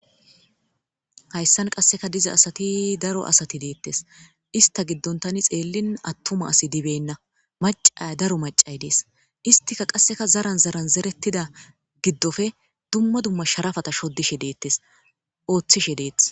hayssan qasseka diza asati daro asati deettes ista giddontani xeellin attuma asi dibenna macay daro macay dees istika qasseka zaran zaran zerettida giddofe dumma dumma sharafata shodishe deettes ooththishe deeth